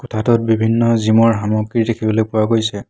কোঠাটোত বিভিন্ন জিম ৰ সামগ্ৰী দেখিবলৈ পোৱা গৈছে।